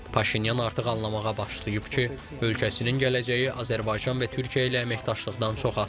Paşinyan artıq anlamağa başlayıb ki, ölkəsinin gələcəyi Azərbaycan və Türkiyə ilə əməkdaşlıqdan çox asılıdır.